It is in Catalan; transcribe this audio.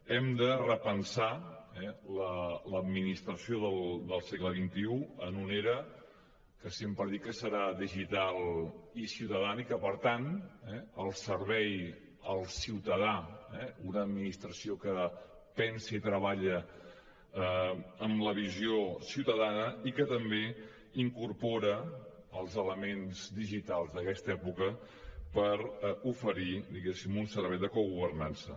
hem de repensar l’administració del segle xxi en una era que sempre dic que serà digital i ciutadana i que per tant al servei del ciutadà eh una administració que pensi i treballa amb la visió ciutadana i que també incorpora els elements digitals d’aquesta època per oferir diguéssim un servei de cogovernança